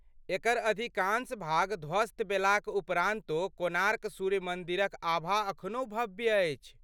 एकर अधिकाँश भाग धवस्त भेलाक उपरान्तो, कोणार्क सूर्य मन्दिरक आभा अखनहु भव्य अछि।